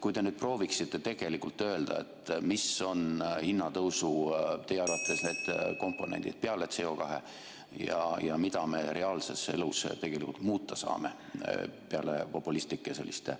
Kui te prooviksite tegelikult öelda, mis on teie arvates hinnatõusu komponendid peale CO2 ja mida me reaalses elus tegelikult muuta saame, peale selliste populistlike mõtete?